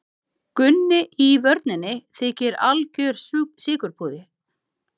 Gunni í vörninni þykir algjör sykurpúði Fallegasta knattspyrnukonan?